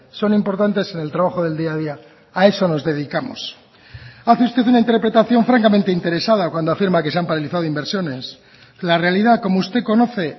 son importantes en el trabajo del día a día a eso nos dedicamos hace usted una interpretación francamente interesada cuando afirma que se han paralizado inversiones la realidad como usted conoce